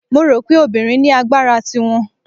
Mo rò pé obìnrin ní agbára ti wọn.